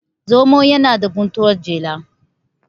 zomo yana da guntuwar jela